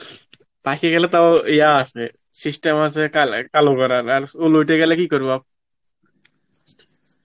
পাকে গেলে তাও যিয়া আছে system আসে কালে~ কালো করার, চুল উঠে গেলে কি করব